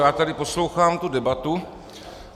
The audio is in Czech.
Já tady poslouchám tu debatu.